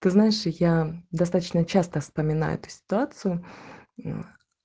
ты знаешь я достаточно часто вспоминаю эту ситуацию